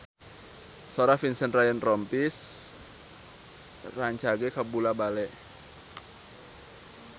Sora Vincent Ryan Rompies rancage kabula-bale